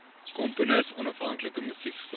komponis onafhanklike musiekskool